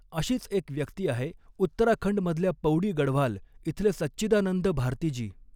अशीच एक व्यक्ती आहे उत्तराखंड मधल्या पौड़ी गढ़वाल इथले सच्चिदानंद भारती जी.